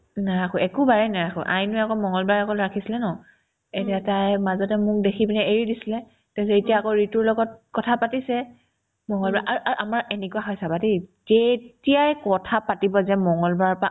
নাৰাখো একো বাৰে নেৰাখো আইনোই আকৌ মংগলবাৰে অকল ৰাখিছিলে ন এতিয়া তাই মাজতে মোক দেখি পিনে এৰি দিছিলে তাৰপিছত এতিয়া আকৌ ৰিতুৰ লগত কথা পাতিছে মংগলবাৰ আৰু আৰু আমাৰ এনেকুৱা হয় চাবা দেই যেতিয়াই কথাপাতিব যায় মংগলবাৰৰ পৰা